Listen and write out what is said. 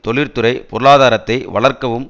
தொழிற்துறை பொருளாதாரத்தை வளர்க்கவும்